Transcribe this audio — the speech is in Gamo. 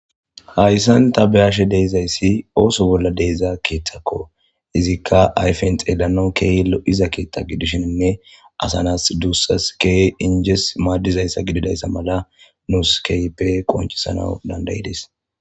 hayssan ta beyashe de'izayssi ooso bolla deeza keeththakko izikka ayfen xeelanon keeylo iza keethta gidishenne asanas duussas ke injes maaddizayssa gididayssa mala nuus kehipe qoncisana dandayides